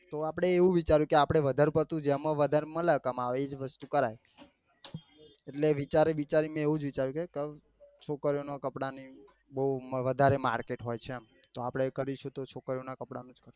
તો આપડે એવું વિચાયું કે આપડે વધાર પડતું જેમાં વધાર મળે કામવા એ જ વસ્તુ કરાય એટલે વિચારે વિચારી ને મેં એવું જ વિચાર્યું કે છોકરીઓ નાં કપડા ની બઉ વધારે market હોય છે આમ તો આપડે કરીશું તો છોકરીઓ નાં કપડા ના